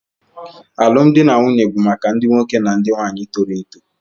Alụmdi na nwunye bụ maka ndị nwoke na ndị nwaanyị toro eto